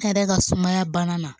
Ne yɛrɛ ka sumaya banna